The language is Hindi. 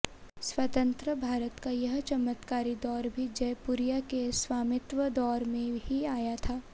स्वतंत्र भारत का यह चमत्कारी दौर भी जयपुरिया के स्वामित्व दौर में ही आया था